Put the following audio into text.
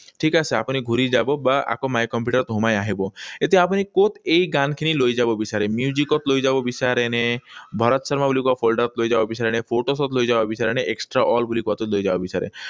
ঠিক আছে। আপুনি ঘূৰি যাব বা আকৌ my computer ত সোমাই আহিব। এতিয়া আপুনি কত এই গানখিনি লৈ যাব বিচাৰে। Music ত লৈ যাব বিচাৰে, নে ভৰত শৰ্মা বুলি কোৱা folder ত লৈ যাব বিচাৰে নে ত লৈ যাব বিচাৰে নে extra all বুলি কোৱাটোত লৈ যাব বিচাৰে।